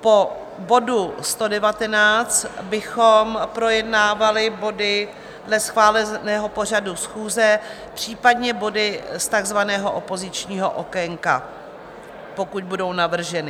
Po bodu 119 bychom projednávali body dle schváleného pořadu schůze, případně body z takzvaného opozičního okénka, pokud budou navrženy.